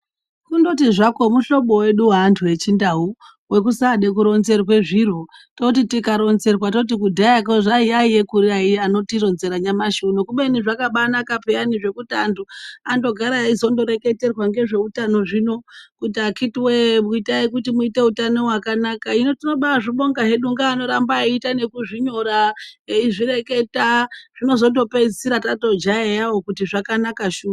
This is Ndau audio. Kundoti zvako muhlobo vedu veantu echindau vekusade kuronzerwe zviro. Toti tikaronzerwa toti kudhayako yaiya kuri anotironzera nyamashi uno. Kubeni zvakabanaka peyani zvekuti antu andogara aizondoreketerwa ngezveutano zvino kuti akhiti woye itai kuti muite hutano hwakanaka. Hino tinobazvibonga hedu ngeanoramba eiita nekuzvinyora eizvireketa zvinozondopedzisira tatojaiyavo kuti zvakanaka shuva.